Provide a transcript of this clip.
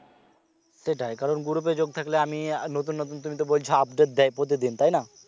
সেটাই কারণ group এ যোগ থাকলে আমি নতুন নতুন তুমি বলছ আপডেট দেয় প্রতিদিন, তাইনা?